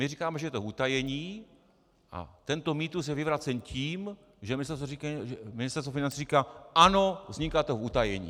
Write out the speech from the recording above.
My říkáme, že je to v utajení, a tento mýtus je vyvracen tím, že Ministerstvo financí říká ano, vzniká to v utajení.